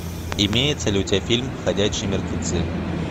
имеется ли у тебя фильм ходячие мертвецы